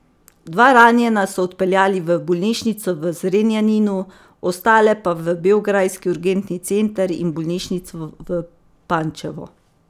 Dva ranjena so odpeljali v bolnišnico v Zrenjaninu, ostale pa v beograjski urgentni center in bolnišnico v Pančevu.